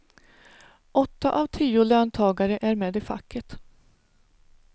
Åtta av tio löntagare är med i facket.